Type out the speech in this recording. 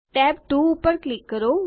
tab 2 પર click કરો